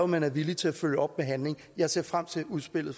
man er villig til at følge op med handling jeg ser frem til udspillet